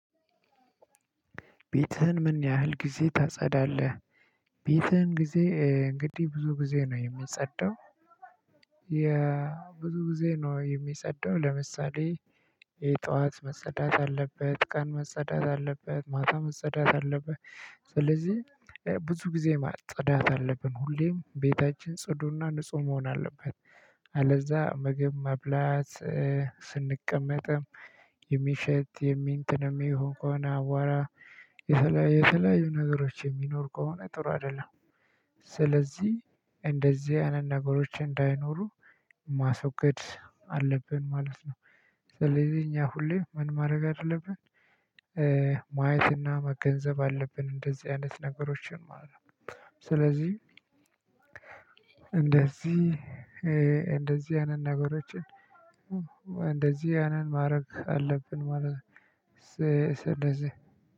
ቤትህን ምን ያህል ጊዜ ታጸዳለህ? ቤትህን ጊዜ እንግዲህ ብዙ ጊዜ ነው የሚጸደው። የብዙ ጊዜ ነው የሚጸደው ለምሳሌ የ ጠዋት መጸዳት አለበት ቀን መጸዳት አለበት ማታ መጸዳት አለበት። ስለዚህ ብዙ ጊዜ ማጽዳት አለብን ሁሌም ቤታችን ጽዱና ንጹህ መሆን አለበት። አለዛ ምግብ መብላት ስንቀመጥም የሚሸት የሚ እንትንም የሚሆን ከሆነ አቧራ የተለያዩ የተለያዩ ነገሮች የሚኖሩ ከሆነ ጥሩ አይደለም። ስለዚህ እንደዚህ አይነት ነገሮች እንዳይኖሩ ማስወገድ አለብን ማለት ነው። ስለዚህ እኛ ሁሌም ምን ማድረግ አለብን። ማየትና መገንዘብ አለብን እንደዚህ አይነት ነገሮችን ማለት ነው። ስለዚህ እንደዚህ እንደዚህ አይነት ነገሮችን እንደዚህ ያንን ማድረግ አለብን ማለት ነው እንደዚህ